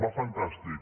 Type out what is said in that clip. va fantàstic